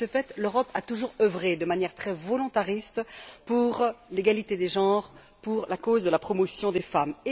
De ce fait, l'Europe a toujours œuvré de manière très volontariste pour l'égalité des genres, pour la cause de la promotion des femmes.